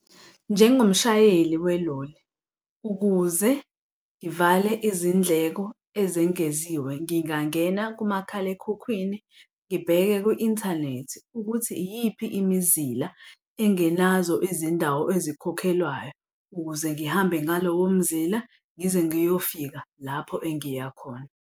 Njengomshayeli weloli, ukuze ngivale izindleko ezengeziwe, ngingangena kumakhalekhukhwini ngibheke kwi-inthanethi ukuthi iyiphi imizila engenazo izindawo ezikhokhelwayo, ukuze ngihambe ngalowo mzila ngize ngiyofika lapho engiya khona.